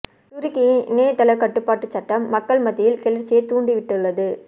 துருக்கியின் இணையத்தளக் கட்டுப்பாட்டுச் சட்டம் மக்கள் மத்தியில் கிளர்ச்சியைத் தூண்டி விட்டுள்ளது